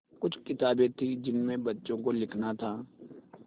कुछ किताबें थीं जिनमें बच्चों को लिखना था